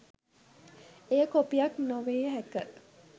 එය කොපියක් නොවිය හැක